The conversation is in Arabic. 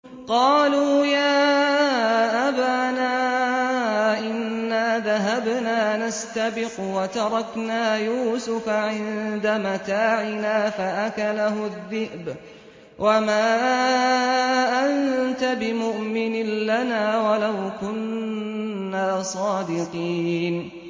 قَالُوا يَا أَبَانَا إِنَّا ذَهَبْنَا نَسْتَبِقُ وَتَرَكْنَا يُوسُفَ عِندَ مَتَاعِنَا فَأَكَلَهُ الذِّئْبُ ۖ وَمَا أَنتَ بِمُؤْمِنٍ لَّنَا وَلَوْ كُنَّا صَادِقِينَ